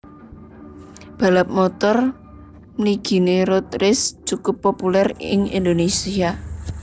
Balap motor mliginé road race cukup populèr ing Indonésia